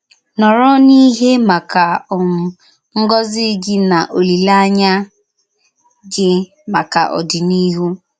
Nòrọ̀ n’ìhè màkà um ngọ́zì gị na olílèányà gị màkà òdíníhù!